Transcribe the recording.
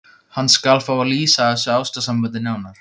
Hann skal fá að lýsa þessu ástarsambandi nánar.